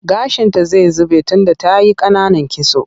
Gashinta zai zube tunda ta yi ƙananan kitso.